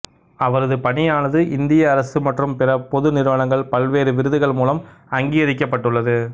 அவரது பணியானது இந்திய அரசு மற்றும் பிற பொது நிறுவனங்கள் பல்வேறு விருதுகள் மூலம் அங்கீகரிக்கப்பட்டுள்ளது